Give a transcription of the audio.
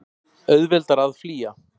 Auðveldara að flýja.